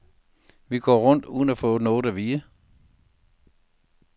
Vi går rundt uden at få noget at vide.